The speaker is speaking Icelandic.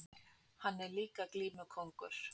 Hann er líka glímukóngur!